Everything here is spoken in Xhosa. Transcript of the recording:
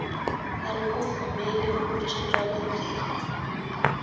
alukuvumeli ukutshintshwa kwendlela